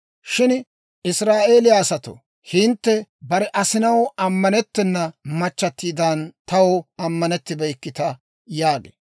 Shin Israa'eeliyaa asatoo, hintte bare asinaw ammanettena machchatiidan taw ammanettibeykkita» yaagee.